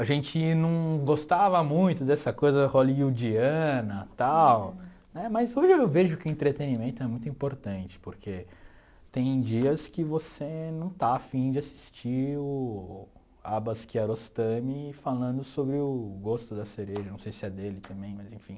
A gente não gostava muito dessa coisa hollywoodiana, tal, mas hoje eu vejo que entretenimento é muito importante, porque tem dias que você não está afim de assistir o Abbas Kiarostami falando sobre o gosto da cereja, não sei se é dele também, mas enfim.